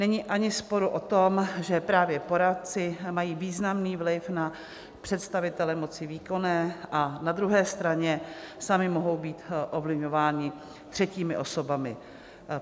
Není ani sporu o tom, že právě poradci mají významný vliv na představitele moci výkonné a na druhé straně sami mohou být ovlivňováni třetími osobami.